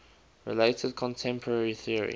related contemporary theory